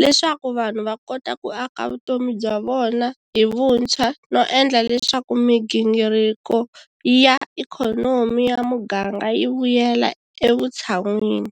leswaku vanhu va kota ku aka vutomi bya vona hi vuntshwa no endla leswaku migingiriko ya ikhonomi ya muganga yi vuyela evutshan'wini.